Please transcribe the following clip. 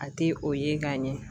A ti o ye ka ɲɛ